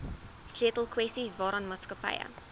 sleutelkwessies waaraan maatskappye